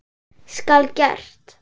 Skal gert!